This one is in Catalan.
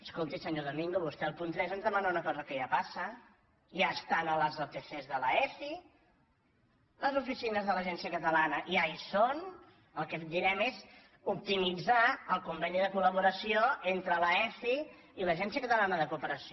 escolti senyor domingo vostè al punt tres ens demana una cosa que ja passa ja està en les otc de l’aeci les oficines de l’agència catala na ja hi són el que direm és optimitzar el conveni de collaboració entre l’aeci i l’agència catalana de cooperació